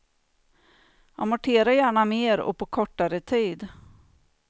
Amortera gärna mer och på kortare tid.